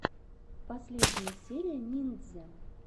последняя серия ниндзя